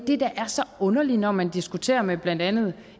det der er så underligt når man diskuterer med blandt andet